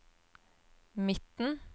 midten